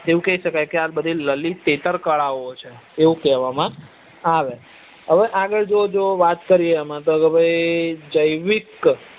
એવું કઈ શકાય કે આ બધી લલિત ઇથર કળાઓ છે એવું કેવા આવે હવે આગળ જો જો વાત કરીએ તો અમ તો ભાઈ જેવિક